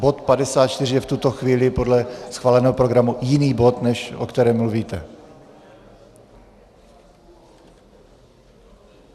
Bod 54 je v tuto chvíli podle schváleného programu jiný bod, než o kterém mluvíte.